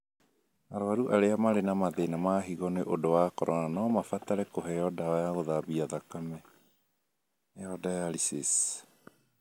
Arwaru arĩa marĩ na mathĩna ma higo nĩ ũndũ wa corona no mabatare kũheo ndawa ya gũthambia thakame (dialysis).